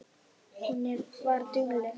Hún var dugleg.